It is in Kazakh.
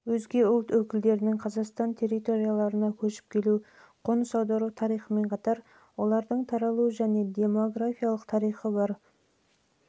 өкілдерінің қазақтан территорияларына көшіп келу қоныс аудару тарихымен қатар олардың таралу және демографиялық тарихы бар